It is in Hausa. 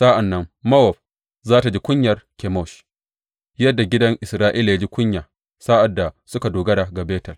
Sa’an nan Mowab za tă ji kunyar Kemosh, yadda gidan Isra’ila ya ji kunya sa’ad da suka dogara ga Betel.